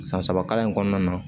San saba kalan in kɔnɔna na